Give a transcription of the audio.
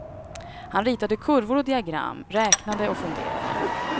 Han ritade kurvor och diagram, räknade och funderade.